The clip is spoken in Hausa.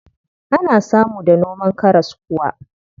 Ana samu da noman karas kuwa.